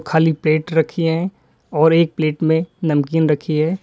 खाली प्लेट रखी है और एक प्लेट में नमकीन रखी है।